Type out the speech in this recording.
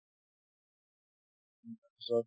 তাৰপিছত